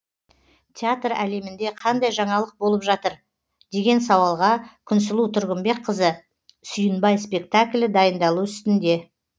театр әлемінде қандай жаңалық болып жатыр деген сауалға күнсұлу тұрғынбекқызы сүйінбай спектаклі дайындалу үстінде